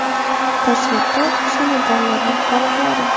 Tasvirda o‘sha medallarning qoliplari.